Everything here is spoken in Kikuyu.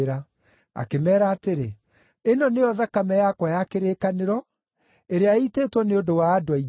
Akĩmeera atĩrĩ, “Ĩno nĩyo thakame yakwa ya kĩrĩkanĩro, ĩrĩa ĩitĩtwo nĩ ũndũ wa andũ aingĩ.